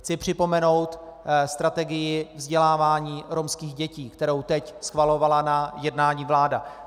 Chci připomenout strategii vzdělávání romských dětí, kterou teď schvalovala na jednání vláda.